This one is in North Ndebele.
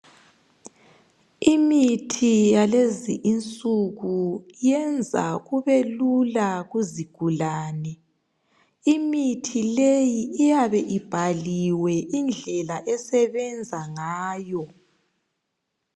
Imithi yalezi insuku yenza kubelula kuzigulane. Imithi le iyabe ibhaliwe indlela esebenza ngayo.